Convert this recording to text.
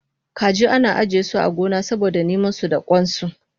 Kaji ana ajiyesu a gona saboda namansu da kwansu